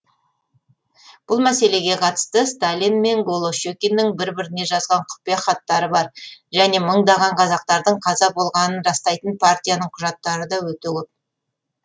бұл мәселеге қатысты сталин мен голощекиннің бір біріне жазған құпия хаттары бар және мыңдаған қазақтардың қаза болғанын растайтын партияның құжаттары да өте көп